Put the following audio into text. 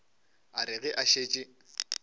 a re ge a šetše